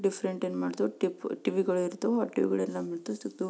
Different ಏನ್ ಮಾಡ್ತೀವಿ ಟಿಪ್ ಟಿ.ವಿ. ಗಳಿರುತ್ತೆ ಆ ಟಿ.ವಿ. ಗಳನ್ನೂ ತೆಗೆದು--